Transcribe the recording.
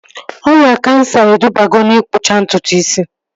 Ọrịa kansa edubago na-ikpụcha ntutu isi